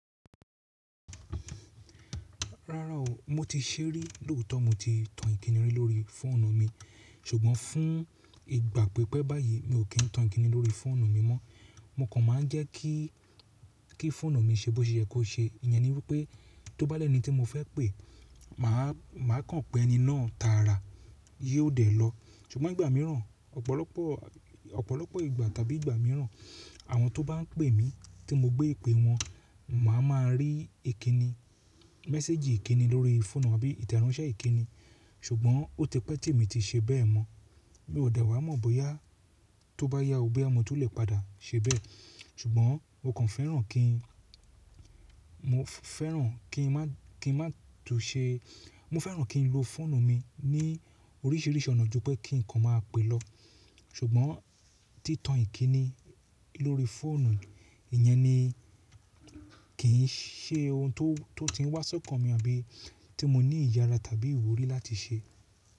Rárá o, mo ti ṣé rí lóòtọ́ mo ti tan Ìkíni lórí fóònù mi, ṣùgbọ́n fún ìgbà pípẹ́ báyìí mi ò kí ń tan Ìkíni lórí fóònù mi mọ́. Mo kàn máa ń jẹ́ kí, kí fóònù mi ṣe bó ṣe ye kó ṣe. Ìyẹn ni wípé tó bá lẹ́ni tí mo fẹ́ pè, màá, màá kàn pè ẹni náà tààrà, ye ó dẹ̀ lọ. Ṣùgbọ́n ìgbà mìíràn, ọ̀pọ̀lọpọ̀, ọ̀pọ̀lọpọ̀ ìgbà tàbí ìgbà mìíràn, àwọn tó bá ń pè mí tí mo gbé ìpè wọn, màá ma rí ìkíni, mẹ́séjì ìkíni lórí fóònù àbí ìtẹronṣẹ́ ìkíni. Ṣùgbọ́n ó ti pẹ́ tí èmi ti ṣe bẹ́ẹ̀ mọ́. Mi ò dà wá mọ̀ bóyá tó bá yá o boya mo tun lè padà ṣe bẹ́ẹ̀. Ṣùgbọ́n mo kàn fẹ́ràn kí n, mo fẹ́ràn kí n má, kí ń má tú ṣe, mo fẹ́ràn kí n lo fóònù mi ní oríṣiríṣi ọ̀nà ju pé kí ǹkan máa pè lọ. Ṣùgbọ́n tí tan Ìkíni lórí fóònù, ìyẹn ni kì í ṣe ohun tó, tó ti ń wá sọ́kàn mi àbí tí mo ní ìyára tàbí ìwúrí láti ṣe.